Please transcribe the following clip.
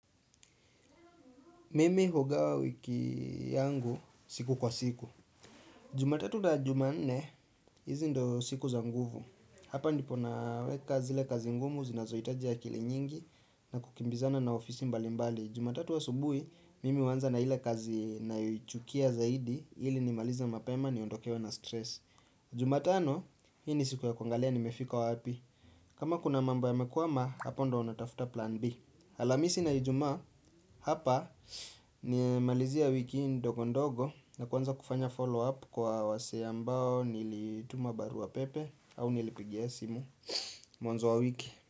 Mimi hugawa wiki yangu siku kwa siku. Jumatatu na jumanne, hizi ndio siku za nguvu. Hapa ndipo naweka zile kazi ngumu, zinazohitaji akili nyingi na kukimbizana na ofisi mbali mbali. Jumatatu subuhi, mimi uanza na ile kazi ninayoichukia zaidi, ili nimalize mapema niondokewe na stress. Jumatano, hii ni siku ya kuangalia nimefika wapi. Kama kuna mambo yamekwama, hapa ndio natafuta plan B. Alhamisi na ijumaa hapa ninamalizia wiki ndogo ndogo na kuanza kufanya follow up kwa wasee ambao nilituma barua pepe au nilipigia simu mwanzo wa wiki.